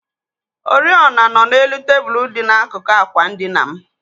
Oriọna nọ n'elu tebụl dị n'akụkụ ákwà ndina m.